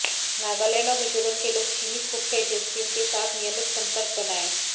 नागालैंड और मिजोरम के लोग चीनी खुफिया एजेंसियों के साथ नियमित संपर्क बनाए